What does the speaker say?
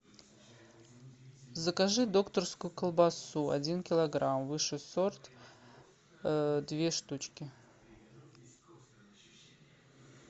закажи докторскую колбасу один килограмм высший сорт две штучки